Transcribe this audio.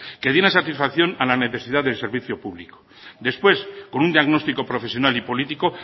que diera satisfacción a la necesidad del servicio público después con un diagnóstico profesional y político